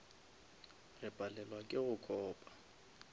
re palelwa ke go copa